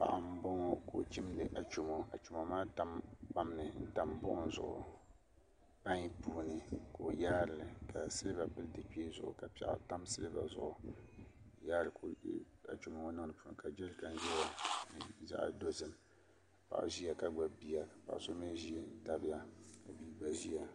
Paɣa n boŋo ka o chindi achomo achomo maa tam buɣum zuɣu pai puuni ka o yaali ka silba pili di kpee zuɣu ka piɛɣu tam silba zuɣu ka o yaari achomo ŋo niŋdi di puuni ka jɛrikan ʒɛya ka nyɛ zaɣ dozim paɣa ʒiya ka gbubi bia ka so mii ʒi n tabiya